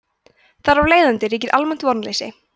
þar af leiðandi ríkir almennt vonleysi